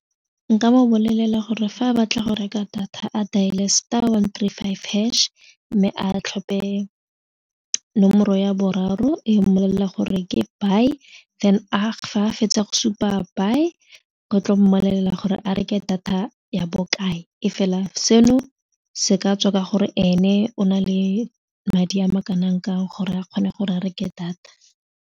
Nka mo bolelela gore fa a batla go reka data a dial-e star one three five hash mme a tlhope nomoro ya boraro e mmolelela gore ke buy then fa a fetsa go supa buy go tlo mmolelela gore a reke data ya bokae e fela seno se ka tswa ka gore ene o na le madi a ma kanang kang gore a kgone gore a reke data.